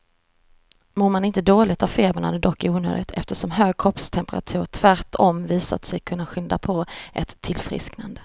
Mår man inte dåligt av febern är det dock onödigt, eftersom hög kroppstemperatur tvärtom visat sig kunna skynda på ett tillfrisknande.